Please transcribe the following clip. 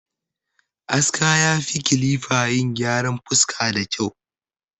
Aska ya fi kilifa yin gyaran fuska da kyau